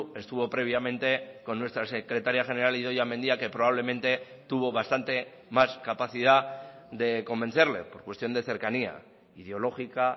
estuvo previamente con nuestra secretaria general idoia mendia que probablemente tuvo bastante más capacidad de convencerle por cuestión de cercanía ideológica